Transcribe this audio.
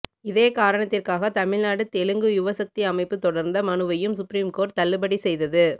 இதே காரணத்திற்காக தமிழ்நாடு தெலுங்கு யுவசக்தி அமைப்பு தொடர்ந்த மனுவையும் சுப்ரீம் கோர்ட் தள்ளுபடி செய்தது